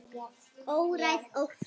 Óræð orka.